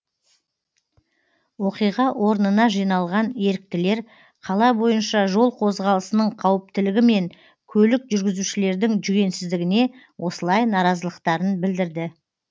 оқиға орнына жиналған еріктілер қала бойынша жол қозғалысының қауіптілігі мен көлік жүргізушілердің жүгенсіздігіне осылай наразылықтарын білдірді